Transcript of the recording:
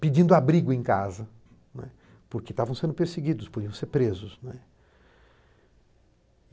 pedindo abrigo em casa, né, porque estavam sendo perseguidos, podiam ser presos, né.